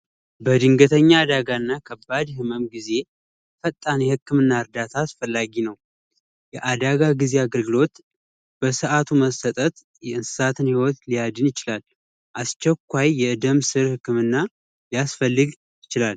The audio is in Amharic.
በድንገተኛ አዳጋ እና ከባድ ህመም ጊዜ ፈጣን የህክምና እርዳታ አስፈላጊ ነው። የአደጋ ጊዜ አገልግሎት በሰአቱ መሰጠት የእንስሳትን ህይወት ሊያድን ይችላሉ። አስቸኳይ የደም ስር ህክምና ሊያስፈልግ ይችላል።